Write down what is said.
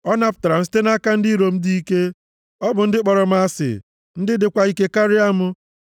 Ọ napụtara m site nʼaka ndị iro m dị ike, bụ ndị kpọrọ m asị, ndị dịkwa ike karịa m.